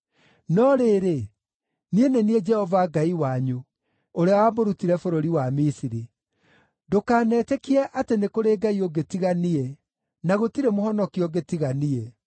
“No rĩrĩ, niĩ nĩ niĩ Jehova Ngai wanyu, ũrĩa wamũrutire bũrũri wa Misiri. Ndũkanetĩkie atĩ nĩ kũrĩ Ngai ũngĩ tiga niĩ, na gũtirĩ Mũhonokia ũngĩ tiga niĩ.